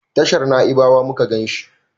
tashar naibawa muka ganshi